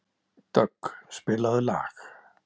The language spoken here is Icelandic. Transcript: Dögg, spilaðu lag.